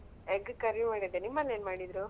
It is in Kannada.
Egg ಕರಿ ಮಾಡಿದೆ ನಿಮ್ ಮನೆಯಲ್ಲಿ ಏನ್ ಮಾಡಿದ್ರು?